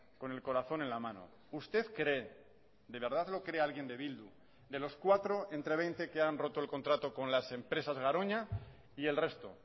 con el corazón en la mano usted cree de verdad lo cree alguien de bildu de los cuatro entre veinte que han roto el contrato con las empresas garoña y el resto